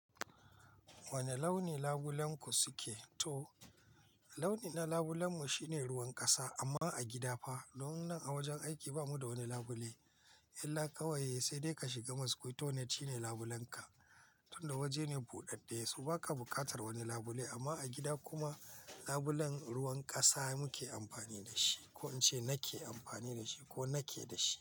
Wane launi labulenku suke? To, launin labulen mu shine ruwan kasa amma a gida fa, don nan a wajen aiki bamu da wani labule. Illa kawai sai dai ka shiga mosquito net shine labulen ka. Tunda waje ne buɗaɗɗe, so baka buƙatar wani labule. Amma a gida kuma labulen ruwan kasa muke amfani da shi, ko in ce nake amfani da shi ko nake da shi.